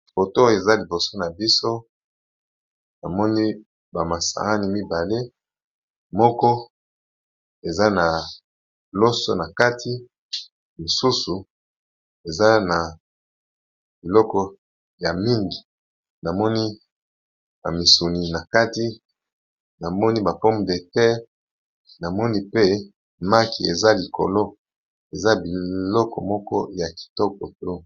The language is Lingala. Foto oyo eza liboso na biso tomoni ba masaani mibale, moko eza na loso na kati, mosusu eza na biloko ya mingi namoni ba misuni na kati, namoni ba pomme de terre, namoni pe maki eza likolo eza biloko moko ya kitoko trop.